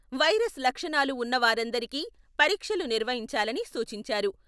Virus లక్షణాలు ఉన్నవారందరికీ పరీక్షలు నిర్వహించాలని సూచించారు.